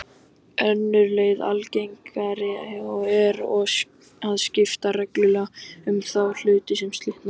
Önnur leið og algengari er að skipta reglulega um þá hluta sem slitna.